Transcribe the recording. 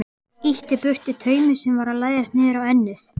Ýtti burtu taumi sem var að læðast niður á ennið.